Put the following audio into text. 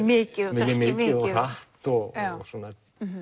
mikið og hratt og svona